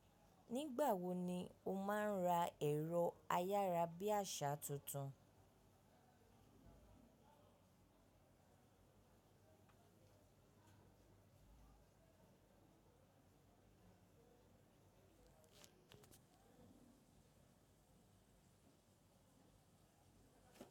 Nígbà wo ni o máa ń ra ẹ̀rọ ayárabíàṣá tuntun?